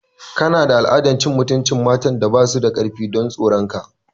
Kana da al'adar cin mutuncin matan da ba su da karfi don tsoron ka.